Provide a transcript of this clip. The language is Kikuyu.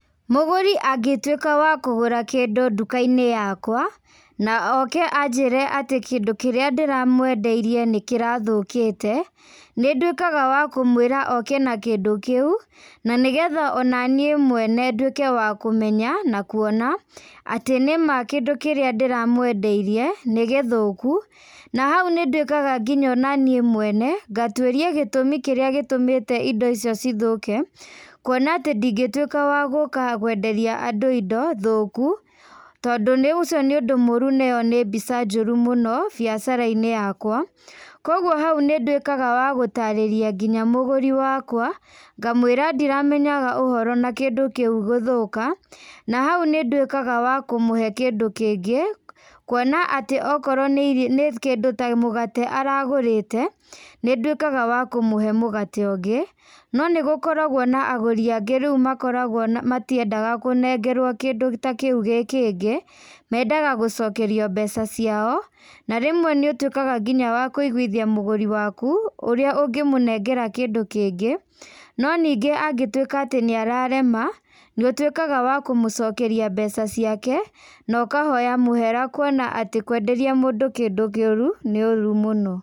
Mũgũri angĩtuĩka wa kũgũra kĩndũ nduka-inĩ yakwa, na oke anjĩre atĩ kĩndũ kĩrĩa ndĩramwendeirie nĩ kĩrathũkĩte, nĩ nduĩkaga wa kũmũĩra oke na kĩndũ kĩu, na nĩgetha ona niĩ mwene nduĩke wa kũmenya, na kuona atĩ nĩma kĩndũ kĩrĩa ndĩramwendeirie nĩ gĩthũku. Na hau nĩ nduĩkaga nginya ona niĩ mwene, ngatuĩria gĩtũmi kĩrĩa gĩtũmĩte indo icio cithũke, kuona atĩ ndingĩtuĩka wa gũka gwenderia andũ indo thũku, tondũ nĩ ũcio nĩ ũndũ mũru na ĩyo nĩ mbica njũru mũno biacara-inĩ yakwa. Kũguo hau nĩ nduĩkaga wa gũtarĩrĩa nginya mũgũri wakwa, ngamwĩra ndiramenyaga ũhoro na kĩndũ kĩu gũthũka, na hau nĩ nduĩkaga wa kũmũhe kĩndũ kĩngĩ, kuona atĩ okorwo nĩ kĩndũ ta mũgate aragũrĩte, nĩ nduĩkaga wa kũmũhe mũgate ũngĩ. No nĩgũkoragwo na agũri angĩ rĩu makoragwo matiendaga kũnengerwo kĩndũ ta kĩu gĩ kĩngĩ, mendaga gũcokerio mbeca ciao, na rĩmwe nĩ ũtuĩkaga nginya wa kũiguithia mũgũri waku, ũrĩa ũngĩmũnengera kĩndũ kĩngĩ. No ningĩ angĩtuĩka atĩ nĩ ararema, nĩ ũtuĩkaga wa kũmũcokeria mbeca ciake, na ũkahoya mũhera kuona atĩ kwenderia mũndũ kĩndũ kĩũru nĩ ũũru mũno.